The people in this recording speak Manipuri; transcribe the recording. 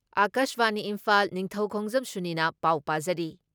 ꯑꯀꯥꯁꯕꯥꯅꯤ ꯏꯝꯐꯥꯜ ꯅꯤꯡꯊꯧꯈꯣꯡꯖꯝ ꯁꯨꯅꯤꯅ ꯄꯥꯎ ꯄꯥꯖꯔꯤ